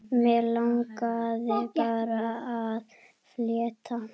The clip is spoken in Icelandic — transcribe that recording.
Mig langaði bara að fletta